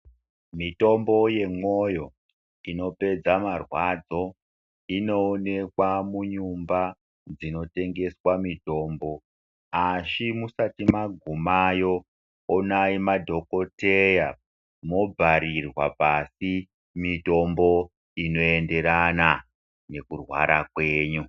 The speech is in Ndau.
Mitombo yemwoyo inopedza marwadzo inoonekwa munyumba dzinotengeswa mitombo asi musati magumeyo onayi madhokoteya mobharirwa pashi mitombo inoenderana nekurwara kwenyu.